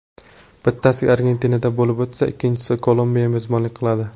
Bittasi Argentinada bo‘lib o‘tsa, ikkinchisiga Kolumbiya mezbonlik qiladi.